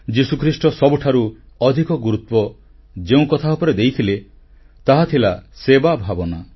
ଯୀଶୁଖ୍ରୀଷ୍ଟ ସବୁଠାରୁ ଅଧିକ ଗୁରୁତ୍ୱ ଯେଉଁକଥା ଉପରେ ଦେଇଥିଲେ ତାହା ଥିଲା ସେବାଭାବନା